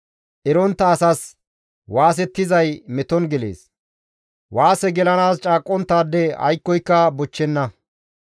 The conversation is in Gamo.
Erontta asas waasettizay meton gelees; waase gelanaas caaqqonttaade aykkoyka bochchenna.